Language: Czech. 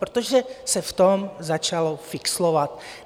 Protože se v tom začalo fixlovat.